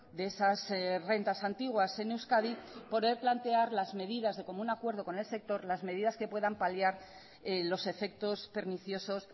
de esas rentas antiguas en euskadi poder plantear las medidas de común acuerdo con el sector las medidas que puedan paliar los efectos perniciosos